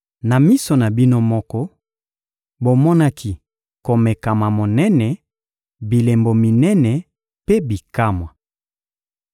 Na miso na bino moko, bomonaki komekama monene, bilembo minene mpe bikamwa.